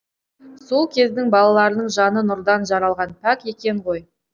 сол кездің балаларының жаны нұрдан жаралған пәк екен ғой